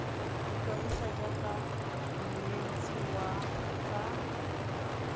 ikwadisa jaaka monetshi wa tsa